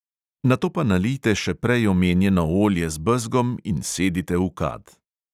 Nato pa nalijte še prej omenjeno olje z bezgom in sedite v kad.